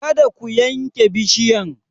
Kada ku yanke bishiyan!